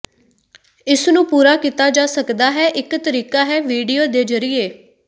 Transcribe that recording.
ਇਸ ਨੂੰ ਪੂਰਾ ਕੀਤਾ ਜਾ ਸਕਦਾ ਹੈ ਇਕ ਤਰੀਕਾ ਹੈ ਵੀਡੀਓ ਦੇ ਜ਼ਰੀਏ